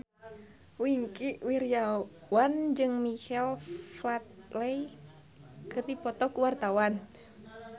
Wingky Wiryawan jeung Michael Flatley keur dipoto ku wartawan